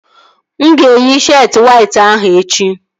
Mụ ga-eyi sheetị wayt ahụ echi